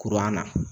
Kuran na